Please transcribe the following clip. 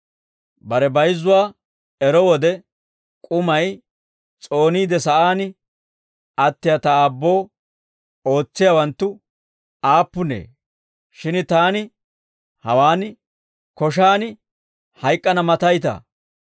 «Bare bayizzuwaa ero wode, ‹K'umay s'ooniide sa'aan attiyaa ta aabboo ootsiyaawanttu aappunee; shin taani hawaan koshaan hayk'k'ana mataytaa?